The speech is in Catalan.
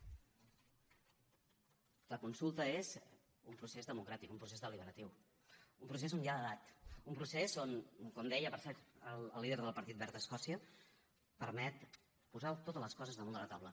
la consulta és un procés democràtic un procés deliberatiu un procés on hi ha edat un procés que com deia per cert el líder del partit verd a escòcia permet posar totes les coses damunt de la taula